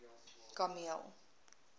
kameel